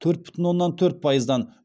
төрт бүтін оннан төрт пайыздан